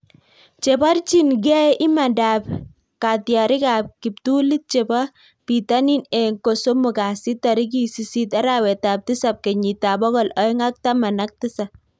Chebarchin gei imandap katyarik ap kiptulit chepo pitanin eng kosomok kasit tarikiit sisit arawet ap tisap kenyit ab pokol oeng ak taman ak tisap